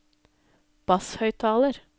basshøyttaler